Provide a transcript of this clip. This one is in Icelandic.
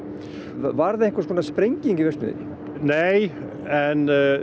varð einhvers konar sprenging í verksmiðjunni nei en